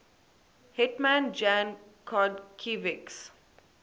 hetman jan chodkiewicz